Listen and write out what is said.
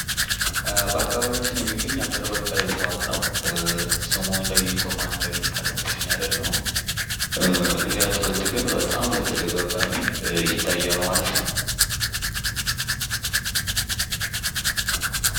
በአካባቢያቸው የሚገኝ ሀገር በቀል እፅዋት ነው። ስሙ ለይቶ ማን እንደሚባል እርግጠኛ አይደለሁም፤ ይሄ አትክልት ግን በጣም በተደጋጋሚ ይታያል ማለት ነው።